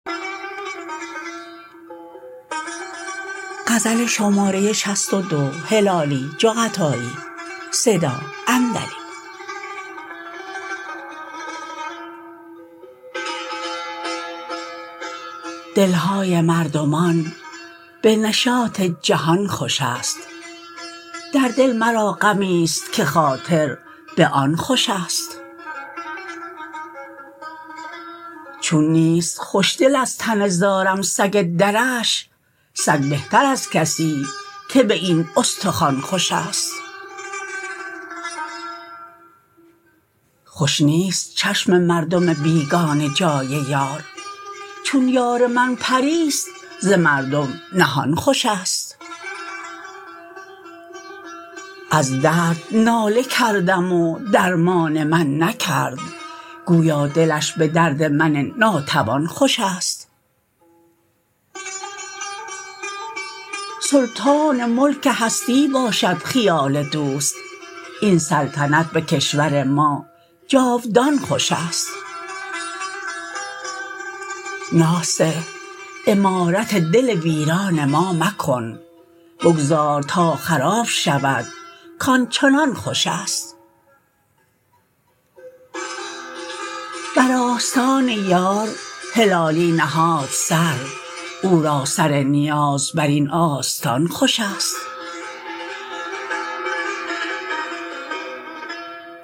دل های مردمان به نشاط جهان خوش است در دل مرا غمی ست که خاطر به آن خوش است چون نیست خوشدل از تن زارم سگ درش سگ بهتر از کسی که به این استخوان خوش است خوش نیست چشم مردم بیگانه جای یار چون یار من پری ست ز مردم نهان خوش است از درد ناله کردم و درمان من نکرد گویا دلش به درد من ناتوان خوش است سلطان ملک هستی باشد خیال دوست این سلطنت به کشور ما جاودان خوش است ناصح عمارت دل ویران ما مکن بگذار تا خراب شود کآنچنان خوش است بر آستان یار هلالی نهاد سر او را سر نیاز بر این آستان خوش است